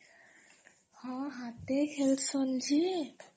ହଁ ହାତେ ହିଁ ଖେଲସନ ଯେ